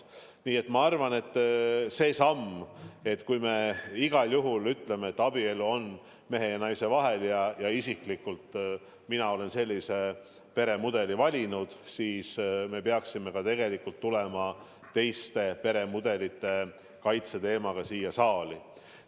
Nii et ma arvan, et kui me igal juhul ütleme, et abielu on mehe ja naise vahel – ja isiklikult mina olen sellise peremudeli valinud –, siis me peaksime tegelikult tulema ka teiste peremudelite kaitse teemaga siia saali.